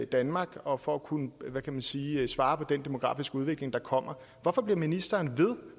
danmark og for at kunne hvad kan man sige svare på den demografiske udvikling der kommer hvorfor bliver ministeren ved